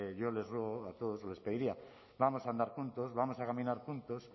yo les ruego a todos les pediría vamos a andar juntos vamos a caminar juntos